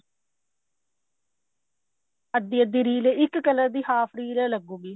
ਅੱਧੀ ਅੱਧੀ ਰੀਲ ਇੱਕ color ਦੀ half ਰੀਲ ਲੱਗੁਗੀ